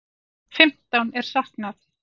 Fimmtán er saknað.